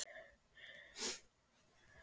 Sverrir Garðars Ekki erfiðasti andstæðingur?